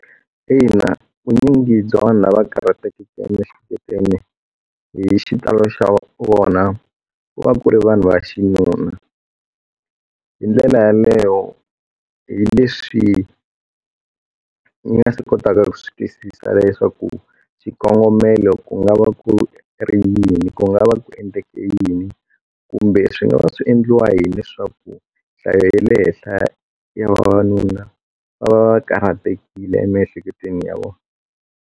Ina vunyingi bya vanhu lava karhatekeke emiehleketweni hi xitalo xa vona ku va ku ri vanhu va xinuna hi ndlela yaleyo hi leswi ni nga si kotaka ku swi twisisa leswaku xikongomelo ku nga va ku ri yini ku nga va ku endleke yini kumbe swi nga va swi endliwa hileswaku nhlayo ya le henhla ya vavanuna va va karhatekile emiehleketweni ya vona.